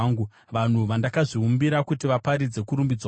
vanhu vandakazviumbira, kuti vaparidze kurumbidzwa kwangu.